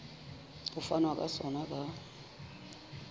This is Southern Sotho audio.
ho fanwa ka sona ka